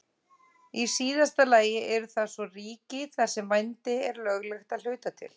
Í síðasta lagi eru það svo ríki þar sem vændi er löglegt að hluta til.